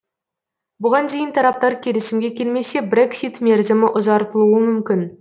бұған дейін тараптар келісімге келмесе брексит мерзімі ұзартылуы мүмкін